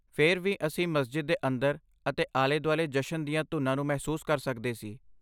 ਫਿਰ ਵੀ ਅਸੀਂ ਮਸਜਿਦ ਦੇ ਅੰਦਰ ਅਤੇ ਆਲੇ ਦੁਆਲੇ ਜਸ਼ਨ ਦੀਆਂ ਧੁਨਾਂ ਨੂੰ ਮਹਿਸੂਸ ਕਰ ਸਕਦੇ ਸੀ।